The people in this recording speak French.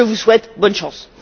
Je vous souhaite bonne chance.